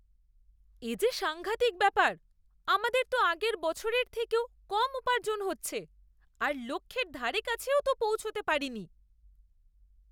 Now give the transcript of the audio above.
এ যে সাঙ্ঘাতিক ব্যাপার! আমাদের তো আগের বছরের থেকেও কম উপার্জন হচ্ছে, আর লক্ষ্যের ধারেকাছেও তো পৌঁছতে পারিনি!